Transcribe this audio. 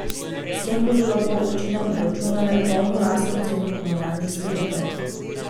S tem bodo lahko občine obračunale polno lastno ceno komunalnih storitev.